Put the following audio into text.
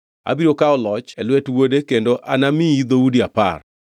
Abiro kawo loch e lwet wuode kendo anamiyi dhoudi apar.